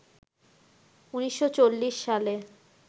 ১৯৪০ সালে